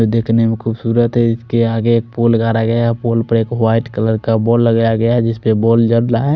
वो देखने में खुबसूरत है इसके आगे पूल्गारा गया है पुल पे एक वाइट कलर का बोर्ड लगाया गया है जिसपे --